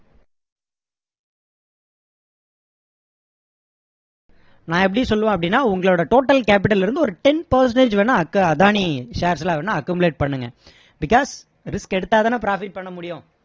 நான் எப்படி சொல்லுவேன் அப்படின்னா உங்களோட total capital ல இருந்து ten percentage வேணும்னா அக்~அதானி shares ல வேணும்னா accumulate பண்ணுங்க because risk எடுத்தா தானே profit பண்ண முடியும்